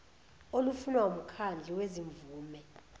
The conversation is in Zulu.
olufunwa wumkhandlu wezimvume